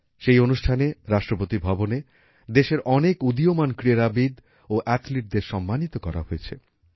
সেই অনুষ্ঠানে রাষ্ট্রপতি ভবনে দেশের অনেক উদীয়মান ক্রীড়াবিদ ও অ্যাথলিটদের সম্মানিত করা হয়েছে